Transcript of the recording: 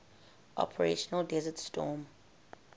operation desert storm